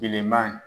Bilenman